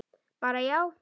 Bara já?